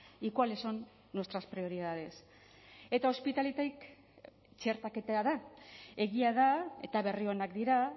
y cuáles son nuestras prioridades eta ospitaletik txertaketa da egia da eta berri onak dira